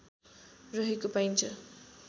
रहेको पाइन्छ